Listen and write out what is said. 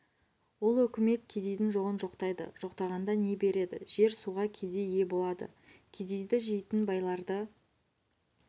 ол өкімет кедейдің жоғын жоқтайды жоқтағанда не береді жер суға кедей ие болады кедейді жейтін байларды